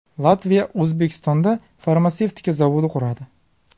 Latviya O‘zbekistonda farmatsevtika zavodi quradi.